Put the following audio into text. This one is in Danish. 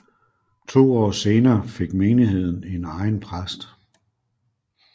To år senere fik menigheden en egen præst